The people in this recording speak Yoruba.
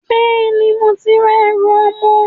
Bẹ́ẹ̀ni, mo ti ra ẹrù ọmọ